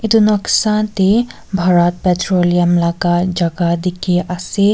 etu noksa te Bharat petroleum laga jaga dikhi ase.